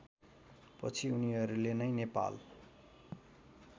पछि उनीहरूले नै नेपाल